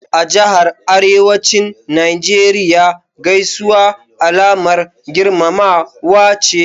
A Jahar Arewacin Najeriya Gaisuwa Alamar girmamawa ce.